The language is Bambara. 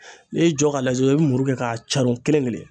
N'i y'i jɔ k'a lajɛ i bi muru kɛ k'a caron kelen kelen